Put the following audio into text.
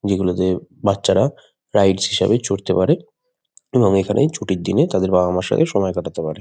যেগুলোতে বাচ্চারা রাইডস হিসাবে চড়তে পারে এবং এখানে ছুটির দিনে তাদের বাবা মার সাথে সময় কাটাতে পারে।